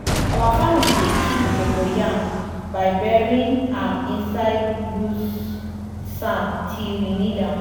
our family dey keep cocoyam by burying am inside loose sand till we need am.